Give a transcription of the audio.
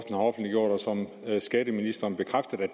som skatteministeren bekræfter er